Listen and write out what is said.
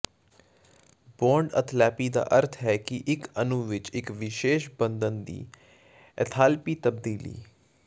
bond enthalpy ਦਾ ਅਰਥ ਹੈ ਕਿ ਇਕ ਅਣੂ ਵਿਚ ਇਕ ਵਿਸ਼ੇਸ਼ ਬੰਧਨ ਦੀ ਏਥਾਲਪੀ ਤਬਦੀਲੀ